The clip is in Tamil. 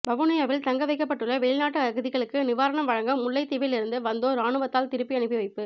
வவுனியாவில் தங்க வைக்கப்பட்டுள்ள வெளிநாட்டு அகதிகளுக்கு நிவாரணம் வழங்க முல்லைத்தீவில் இருந்து வந்தோர் இராணுவத்தால் திருப்பி அனுப்பி வைப்பு